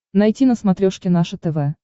найти на смотрешке наше тв